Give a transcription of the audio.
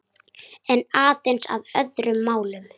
En aðeins að öðrum málum.